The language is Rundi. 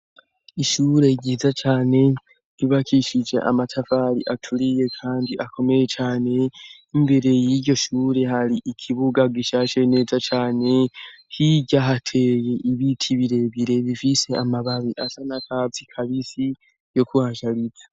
Ishure ryiza cane ibakishije amatavari aturiye, kandi akomeye cane imbere y'iryo shure hari ikibuga gishashe neza cane hirya hateye ibiti birebire bifise amababi asa na kasi kabisi yo kuhashariza.